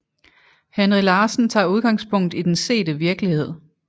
Henry Larsen tager udgangspunkt i den sete virkelighed